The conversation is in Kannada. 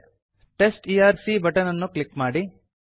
test ERC test E R C button ಅನ್ನು ಕ್ಲಿಕ್ ಮಾಡಿ